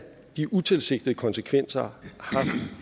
de utilsigtede konsekvenser